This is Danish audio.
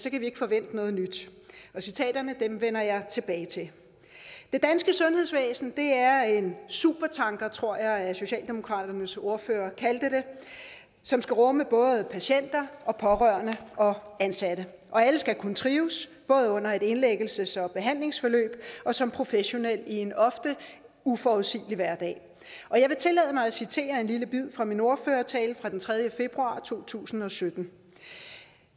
vi ikke forvente noget nyt citaterne vender jeg tilbage til det danske sundhedsvæsen er en supertanker tror jeg at socialdemokratiets ordfører kaldte det som skal rumme både patienter og pårørende og ansatte og alle skal kunne trives både under et indlæggelses og behandlingsforløb og som professionelle i en ofte uforudsigelig hverdag jeg vil tillade mig at citere en lille bid fra min ordførertale fra den tredje februar 2017